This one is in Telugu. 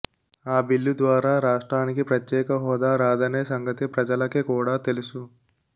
ఆ బిల్లు ద్వారా రాష్ట్రానికి ప్రత్యేక హోదా రాదనే సంగతి ప్రజలకి కూడా తెలుసు